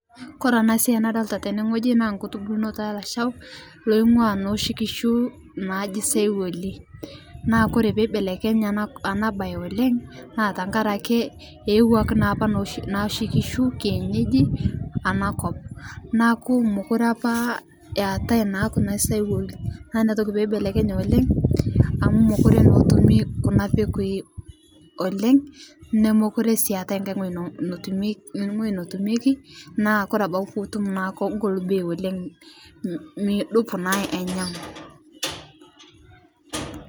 Kore ana siai nadolita tene ng'oji naa nkutubulnoto elashao oing'ua noshi kishuu najii saiwolii naa kore peibelekenye ana bai oleng' naa tankarake eewaki naapa noshi kishu kienyeji ana kop naaku mokure apa eatai naa kuna saiwali naa inia toki peibelekenye oleng' amu mokure naa etumii kuna pekui oleng' nomokure sii eatai ng'ai ng'oji , ng'oji notumekii naa kore abaki tinitum naa kogol bei oleng' mudup naa ainyegu.